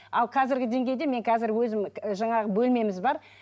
ал қазіргі деңгейде мен қазір өзім жаңағы бөлмеміз бар